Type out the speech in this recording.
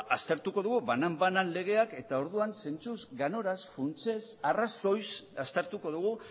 aztertuko dugu banan banan legeak eta orduan zentzuz ganoraz funtsez arrazoiz aztertuko dugu